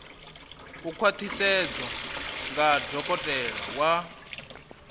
u khwaṱhisedzwa nga dokotela wa